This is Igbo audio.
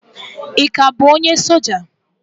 Ị ka bụ onye soja?